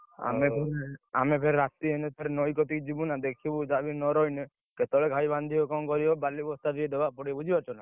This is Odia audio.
ଆମେ ଫେରେ ରାତି ଏଇନେ ଫେରେ ନଈ କତିକି ଯିବୁ ନା ଦେଖିବୁ ଯାହା ବି ହେଲେନ ରହିଲେ, କେତେବେଳେ ଘାଇ ଭାଙ୍ଗିବ କଣ କରିବ, ବାଲି ବସ୍ତା ଦବାକୁ ପଡିବ ବୁଝିପାରୁଛ ନା?